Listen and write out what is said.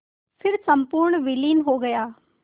फिर संपूर्ण विलीन हो गया